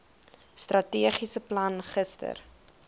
strategiese plan gister